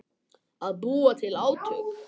Að búa til átök